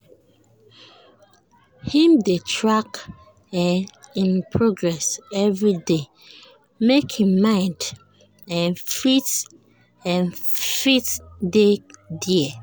im dey track um im progress everyday make him mind um fit um fit dey dere